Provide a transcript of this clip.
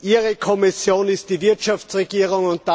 Ihre Kommission ist die Wirtschaftsregierung.